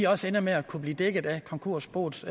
også ender med at kunne blive dækket af konkursboets